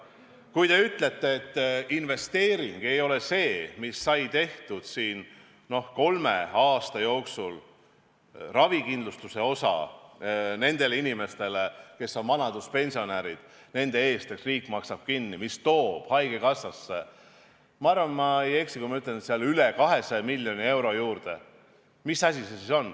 Kui te ütlete, et investeering ei ole see, mis sai tehtud kolme aasta jooksul – see, et riik maksab vanaduspensionäride ravikindlustuse osa kinni, ja ma arvan, ma ei eksi, kui ütlen, et haigekassa sai üle 200 miljoni euro juurde –, siis mis asi see on?